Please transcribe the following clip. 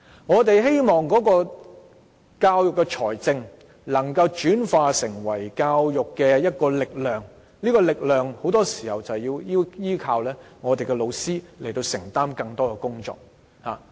我們希望教育資源能夠轉化為教育力量，而這股力量很多時候要依靠老師承擔更多工作。